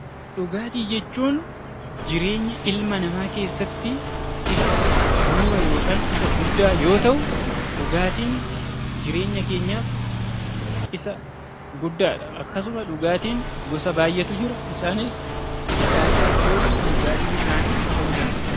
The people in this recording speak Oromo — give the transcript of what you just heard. Dhugaatii jechuun jireenya ilma namaa keessatti bu'uura yookaan isa guddaa yoo ta'u, dhugaatiin jireenya keenyaaf isa guddaadha. Akkasuma dhugaatiin gosa baayyeetu jira isaanis dhugaatii aalkoolii, dhugaatii bishaanii ta'uu danda'a.